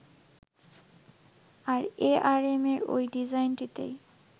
আর এআরএমের ওই ডিজাইনটিতেই